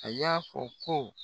A y'a fɔ ko